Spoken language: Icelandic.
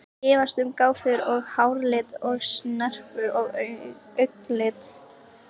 Efast um gáfur og háralit og snerpu og augnlit.